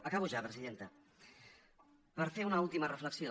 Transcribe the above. acabo ja presidenta per fer una última reflexió